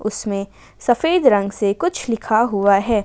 उसमें सफेद रंग से कुछ लिखा हुआ है।